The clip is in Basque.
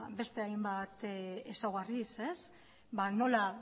beste hainbat ezaugarriz nola